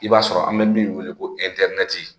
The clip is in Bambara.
I b'a sɔrɔ an bɛ min wele ko